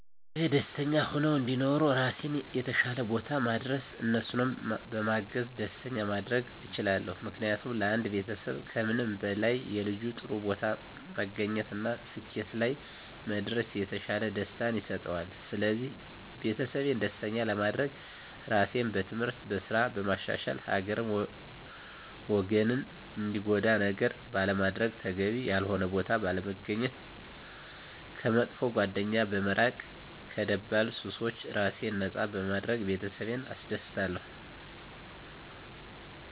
ቤተሰቤ ደስተኛ ሁነው እንዲኖሩ ራሴን የተሻለ ቦታ ማድረስ እነሱንም በማገዝ ደስተኛ ማድረግ እችላለሁ። ምክንያቱም ለአንድ ቤተሰብ ከምንም በላይ የልጁ ጥሩ ቦታ መገኘት እና ስኬት ላይ መድረስ የተሻለ ደስታን ይሰጠዋል ስለዚህ ቤተሰቤን ደስተኛ ለማድረግ ራሴን በትምህርት፣ በስራ በማሻሻል ሀገርን ወገንን ሚጎዳ ነገር ባለማድረግ፣ ተገቢ ያልሆነ ቦታ ባለመገኘት፣ ከመጥፎ ጓደኛ በመራቅ ከደባል ሱሶች ራሴን ነፃ በማድረግ ቤተሰቤን አስደስታለሁ።